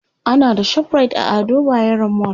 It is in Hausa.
ana da ShopRite a Ado bayero mall